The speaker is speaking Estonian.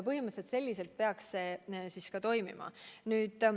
Põhimõtteliselt samamoodi peaks see ka toimima.